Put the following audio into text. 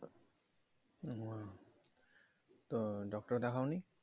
হম তো ডাক্তার দেখাও নি